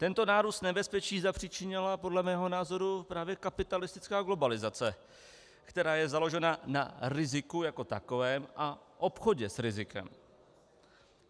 Tento nárůst nebezpečí zapříčinila podle mého názoru právě kapitalistická globalizace, která je založena na riziku jako takovém a obchodě s rizikem.